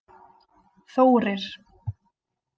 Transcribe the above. Þórir